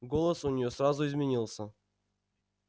голос у неё сразу изменился